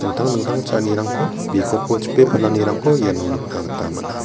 dingtang cha·anirangko bikopo chipe palanirangko iano nikna gita man·a.